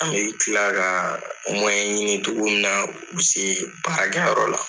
An bi kila ka ɲini togo min na u bi se baara kɛ yɔrɔ la.